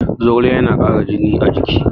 Zogale yana ƙara jini a jiki